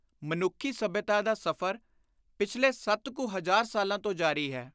ਮਨੁੱਖੀ ਸੱਭਿਅਤਾ ਦਾ ਸਫ਼ਰ ਪਿਛਲੇ ਸੱਤ ਕੁ ਹਜ਼ਾਰ ਸਾਲਾਂ ਤੋਂ ਜਾਰੀ ਹੈ।